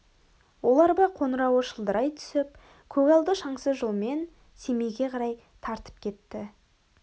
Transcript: ол арба қоңырауы шылдырай түсіп көгалды шаңсыз жолмен семейге қарай тартып кетті